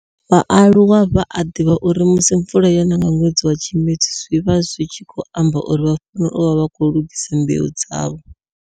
vhaaluwa vha a divha uri musi mvula yona nga nwedzi wa Tshimedzi zwi vha zwi tshi khou amba uri vha fanela u vha vha khou lugisa mbeu dzavho.